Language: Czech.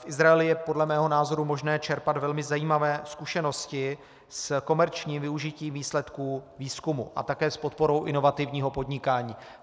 V Izraeli je podle mého názoru možné čerpat velmi zajímavé zkušenosti s komerčním využitím výsledků výzkumu a také s podporou inovativního podnikání.